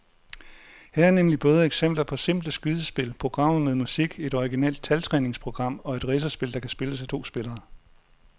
Her er nemlig både eksempler på simple skydespil, programmer med musik, et originalt taltræningsprogram og et racerspil, der kan spilles af to spillere.